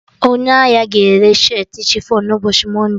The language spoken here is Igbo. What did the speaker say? Onye ahia ga-ere shirtị chifọn na ụbọchị mọnde